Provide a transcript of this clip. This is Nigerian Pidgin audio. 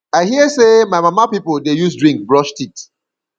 i hear sey my mama pipu dey use drink brush teet